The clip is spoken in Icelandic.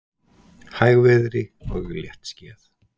Hægviðri og léttskýjað